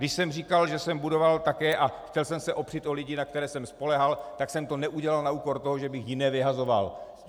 Když jsem říkal, že jsem budoval také a chtěl jsem se opřít o lidi, na které jsem spoléhal, tak jsem to neudělal na úkor toho, že bych jiné vyhazoval.